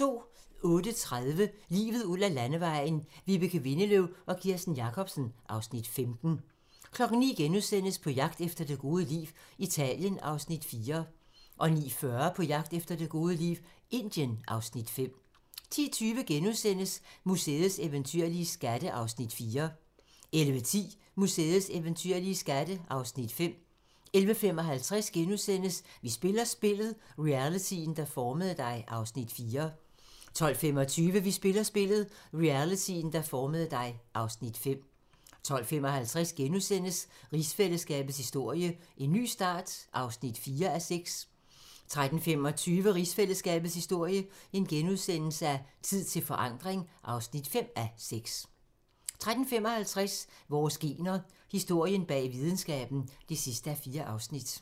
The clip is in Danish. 08:30: Livet ud ad Landevejen: Vibeke Windeløw og Kirsten Jacobsen (Afs. 15) 09:00: På jagt efter det gode liv - Italien (Afs. 4)* 09:40: På jagt efter det gode liv - Indien (Afs. 5) 10:20: Museets eventyrlige skatte (Afs. 4)* 11:10: Museets eventyrlige skatte (Afs. 5) 11:55: Vi spiller spillet - realityen, der formede dig (Afs. 4)* 12:25: Vi spiller spillet - realityen, der formede dig (Afs. 5) 12:55: Rigsfællesskabets historie: En ny start (4:6)* 13:25: Rigsfællesskabets historie: Tid til forandring (5:6)* 13:55: Vores gener - historien bag videnskaben (4:4)